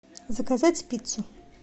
заказать пиццу